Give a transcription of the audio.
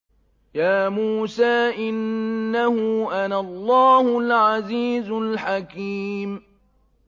يَا مُوسَىٰ إِنَّهُ أَنَا اللَّهُ الْعَزِيزُ الْحَكِيمُ